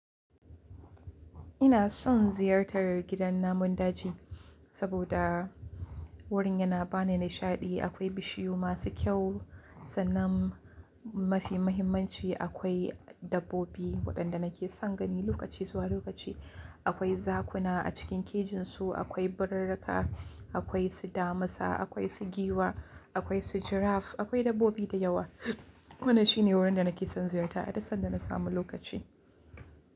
Ina son ziyartar gidan namun daji saboda wurin yana ba ni nishaɗi. Akwai bishiyu masu kyau, sannan mafi mahimmanci akwai dabbobi waɗanda nake son gani lokaci zuwa lokaci. Akwai zakuna a cikin kejin su, akwai birirrika, akwai su damisa, akwai su giwa, akwai su giraffe, akwai dabbobi da yawa. Wannan shine wurin da nake son ziyarta a duk sanda na samu lokaci.